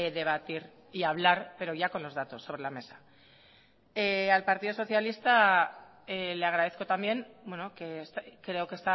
debatir y hablar pero ya con los datos sobre la mesa al partido socialista le agradezco también creo que